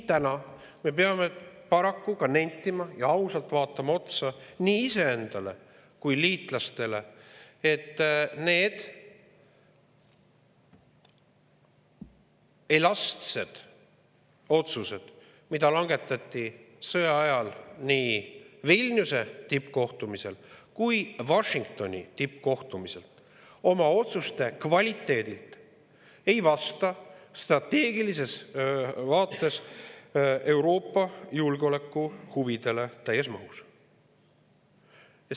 Täna peame me siin paraku ausalt vaatama otsa nii iseendale kui ka liitlastele ja nentima, et need elastsed otsused, mida langetati sõja ajal Vilniuse tippkohtumisel ja ka Washingtoni tippkohtumisel, ei vasta oma kvaliteedilt strateegilises vaates Euroopa julgeolekuhuvidele täies mahus.